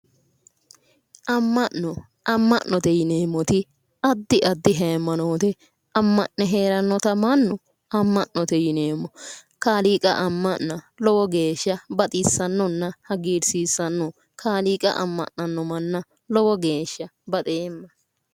Ama'note yineemmoti adi adi hayimanoote ama'note heeranotabmannu ama'note yineemmo kaaliiqqa ama'na lowo geeshsha baxisanonna hagirisiissanno kaaliiqqa ama'na no manna lowo geeshsha baxewma